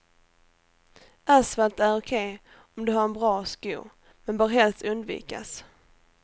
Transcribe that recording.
Asfalt är okej om du har en bra sko, men bör helst undvikas.